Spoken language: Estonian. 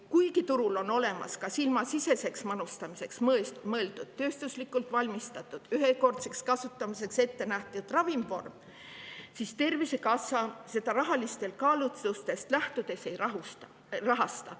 Kuigi turul on olemas ka silmasiseseks manustamiseks mõeldud tööstuslikult valmistatud ühekordseks kasutamiseks ettenähtud ravimvorm, siis Tervisekassa seda rahalistest kaalutlustest lähtudes ei rahasta.